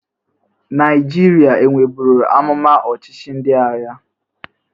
Naịjirịa enweburu amụma ọchịchị ndị agha?